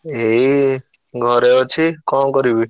ଏଇ ଘରେ ଅଛି କଣ କରିବି?